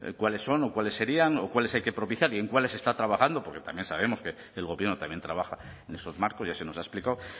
cuáles son o cuáles serían o cuáles hay que propiciar y en cuáles está trabajando porque también sabemos que el gobierno también trabaja en esos marcos ya se nos ha explicado